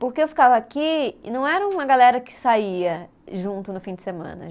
Porque eu ficava aqui e não era uma galera que saía junto no fim de semana.